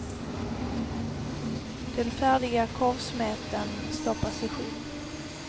Den färdiga korvsmeten stoppas i skinn.